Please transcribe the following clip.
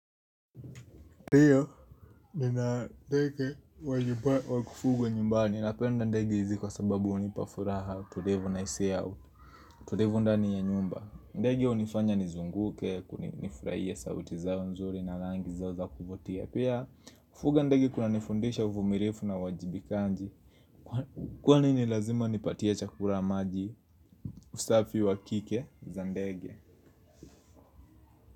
Ndiyo, nina ndege wa nyumba wa kufugwa nyumbani. Ninapenda ndege hizi kwa sababu hunipa furaha. Tulivu nahisia ya utu. Tulivu ndani ya nyumba. Ndege hunifanya nizunguke, ku nifurahie sauti zao nzuri na rangi zao za kuvutia. Pia, kufuga ndege kunanifundisha uvumilivu na uwajibikaji. Kwani ni lazima nipatie chakula maji usafi wa kike za ndege.